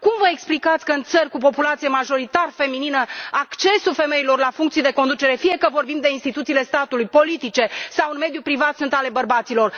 Cum vă explicați că, în țări cu populație majoritar feminină, accesul femeilor la funcții de conducere, fie că vorbim de instituțiile statului, politice sau în mediul privat, sunt ale bărbaților?